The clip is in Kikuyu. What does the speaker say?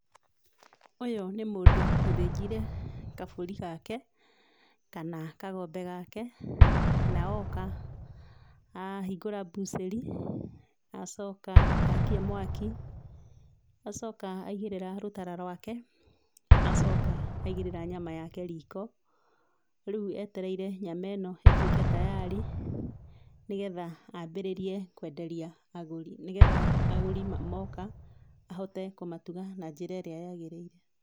Ũyũ nĩ mũndũ ũthĩnjĩre gabũri gake kana kagombe gake na oka ahingũra bucheri, acoka akia mwaki, acoka aĩgĩrira rũtara rwake na acoka aĩgĩrĩra nyama yake riko. Reu etereire nyama ĩno ĩtũĩke tayarĩ nĩ getha ambĩrĩrie kwenderia agũri. Nĩ getha agũri moka ahote kũmatuga na njĩra ĩrĩa yagĩrĩire.